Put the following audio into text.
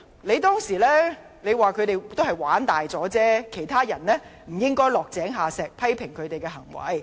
你當時說，他們只是"玩大咗"，別人不應落井下石，批評他們的行為。